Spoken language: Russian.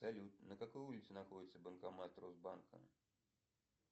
салют на какой улице находится банкомат росбанка